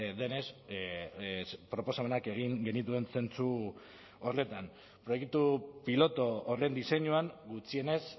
denez proposamenak egin genituen zentzu horretan proiektu pilotu horren diseinuan gutxienez